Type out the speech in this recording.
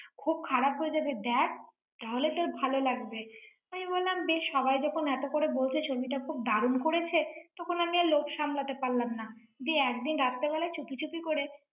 খুব খারাপ হয়ে যাবে দেখ। তাহলে তোর ভালো লাগবে৷ আমি বললাম বেশ সবাই যখন এত করে বলছে, ছবিটা খুব দারুণ করেছে, তখন আমি আর লোভ সামলাতে পারলাম না। যে একদিন রাত্রে বেলা চুপিচুপি করে করে।